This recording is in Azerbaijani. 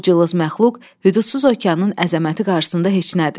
Bu cılız məxluq hüdudsuz okeanın əzəməti qarşısında heç nədir.